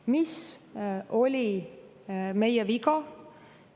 Mis oli meie viga?